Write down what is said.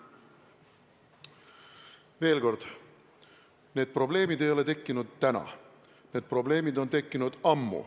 Veel kord: need probleemid ei ole tekkinud täna, need probleemid on tekkinud ammu.